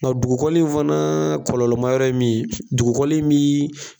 Nga dugukɔli in fana kɔlɔlɔ ma yɔrɔ ye min ye dugukɔli in min